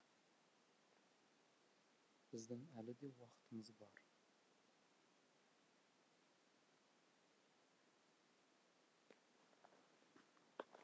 біздің әлі де уақытымыз бар